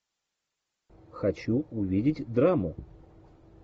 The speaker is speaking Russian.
хочу увидеть драму